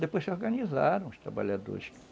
Depois se organizaram os trabalhadores.